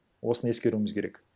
осына ескеруіміз керек